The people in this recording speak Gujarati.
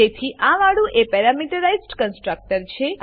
તેથી આ વાળું એ પેરામીટરાઈઝ્ડ કન્સ્ટ્રકટર છે